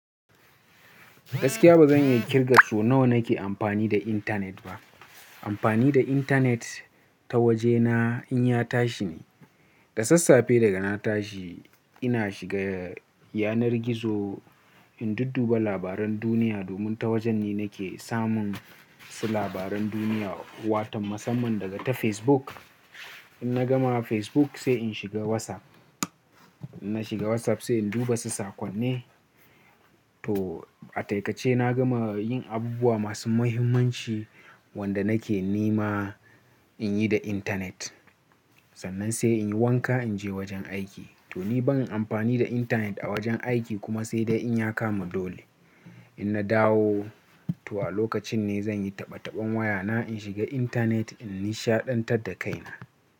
Gaskiya ba zan iya kirga so nawa nake amfani da intanet ba. Amfani da intanet ta waje na in ya tashi ne. Da sassafe daga na tashi ina shiga yanar gizo in dudduba labaran duniya domin ta wajen ne nake samun su labaran duniya, wato masamman daga ta Facebook. In na gama Facebook sai in shiga WhatsApp. Na shiga WhatsApp sai in duba su saƙon ne. To a taƙaice na gama yin abubuwa masu muhimmanci wanda nake nema in yi da intanet. Sannan sai in yi wanka in je wajen aiki. To ni ban amfani da intanet a wajen aiki kuma sai dai in ya kamu dole. In na dawo, to a lokacin ne zan yi taɓa-taɓen wayana in shiga intanet in nishaɗantar da kaina.